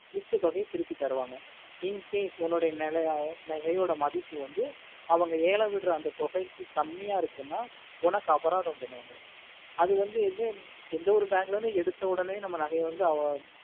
மிச்ச தொகையே திருப்பி தருவாங்க incase உன்னோட நிலைய நகையே நகையோட மதிப்பு வந்து அவங்க எலாம் விடுற தொகையா கம்மியா இருக்கும்னா உனக்கு அபராதம் பண்ணுவாங்க அது வந்து எந்த ஒரு bank ளையும் எடுத்த ஒடனே நம்ம நகையே